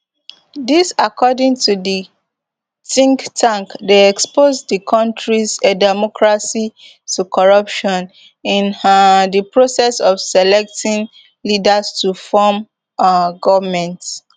dis according to di think tank dey expose di kontris democracy to corruption in um di process of selecting leaders to form um goment